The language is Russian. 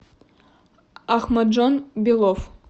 ахмаджон белов